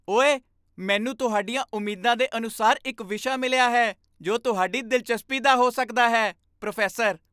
ਓਏ, ਮੈਨੂੰ ਤੁਹਾਡੀਆਂ ਉਮੀਦਾਂ ਦੇ ਅਨੁਸਾਰ ਇੱਕ ਵਿਸ਼ਾ ਮਿਲਿਆ ਹੈ ਜੋ ਤੁਹਾਡੀ ਦਿਲਚਸਪੀ ਦਾ ਹੋ ਸਕਦਾ ਹੈ ਪ੍ਰੋਫੈਸਰ